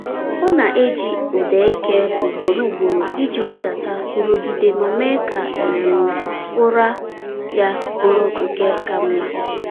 Ọ na-eji ụda eke ugboro ugboro iji wedata nrụgide ma mee ka um ụra ya bụrụ nke ka mma.